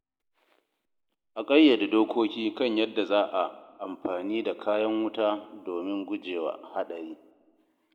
A ƙayyade dokoki kan yadda za a amfani da kayan wuta domin gujewa haɗari.